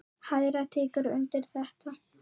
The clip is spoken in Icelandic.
Hera tekur undir þetta.